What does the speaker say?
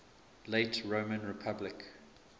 late roman republic